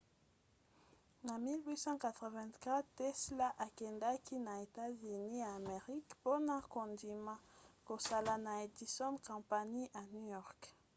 na 1884 tesla akendaki na états-unis ya amerika mpona kondima kosala na edison company na new york